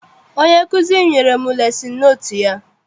Onye nkụzi m nyere m lesin notu ya.